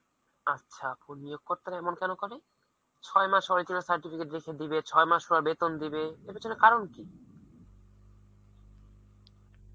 আচ্ছা, অপু নিয়োগ কর্তারা এমন কেন করে? ছয় মাস original certificate রেখে দিবে ছয় মাস পর বেতন দিবে, এর পিছনে কারণ কি?